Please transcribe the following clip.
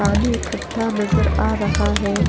पानी इकट्ठा नजर आ रहा है --